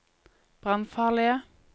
brannfarlige